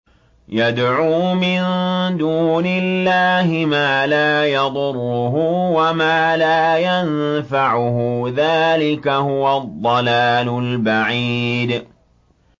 يَدْعُو مِن دُونِ اللَّهِ مَا لَا يَضُرُّهُ وَمَا لَا يَنفَعُهُ ۚ ذَٰلِكَ هُوَ الضَّلَالُ الْبَعِيدُ